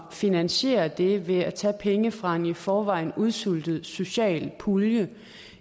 at finansiere det ved at tage penge fra en i forvejen udsultet socialpulje